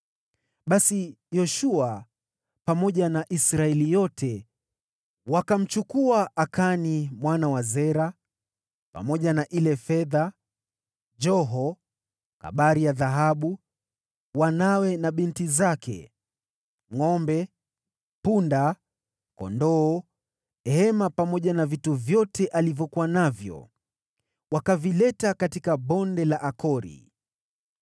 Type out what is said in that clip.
Basi Yoshua, pamoja na Israeli yote, wakamchukua Akani mwana wa Zera, pamoja na ile fedha, lile joho, ile kabari ya dhahabu, wanawe na binti zake, ngʼombe, punda na kondoo wake, hema yake pamoja na vitu vyote alivyokuwa navyo, wakavileta katika Bonde la Akori.